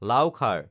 লাও খাৰ